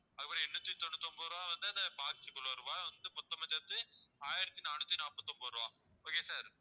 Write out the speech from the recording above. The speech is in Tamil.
அதுக்கப்புறம் எண்ணூத்தி தொண்ணூத்தி ஒன்பது ரூபா வந்து அந்த box க்கு உள்ள ரூபா மொத்தமா சேர்த்து ஆயிரத்தி நானூத்தி நாப்பத்தி ஒன்பது ரூபா okay sir